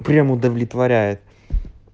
прям удовлетворяет